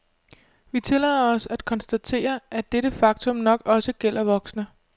Vi tillader os at konstatere, at dette faktum nok også gælder voksne.